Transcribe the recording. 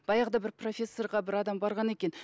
баяғыда бір профессорға бір адам барған екен